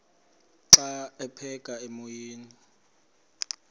xa aphekela emoyeni